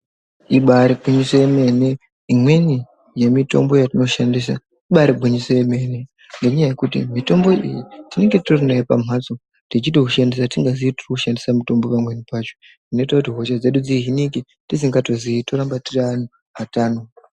Ibairi gwinyiso yemene imweni ye mitombo yatino shandisa ibairi gwinyiso yemene ne nyaya yekuti mitombo iyi tinenge titori nayo pamhasto tichito ushandisa tisingazii tiri kushandisa pamweni pacho zvinoita kuti hosha dzedu dzi hinike tisingato zii toramba tiri anhu atano.